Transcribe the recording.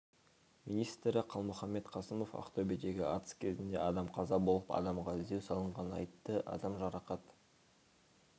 министрі қалмұханбет қасымов ақтөбедегі атыс кезінде адам қаза болып адамға іздеу салынғанын айтты адам жарақат